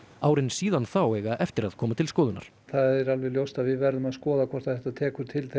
árin síðan þá eiga eftir að koma til skoðunar það er alveg ljóst að við verðum að skoða hvort þetta tekur til